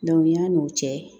yan'o cɛ